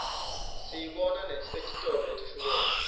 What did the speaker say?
siyibona nesetitolo letihlukene